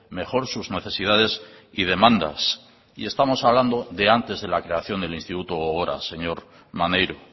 mejor sus necesidades y demandas y estamos hablando de antes de la creación del instituto gogora señor maneiro